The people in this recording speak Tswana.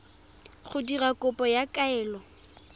go dira kopo ya kaelo